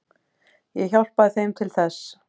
Ég hjálpaði þeim til þess.